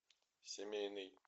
семейный